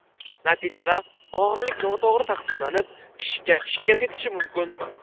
Natijada og‘irlik noto‘g‘ri taqsimlanib, kishiga shikast yetishi mumkin.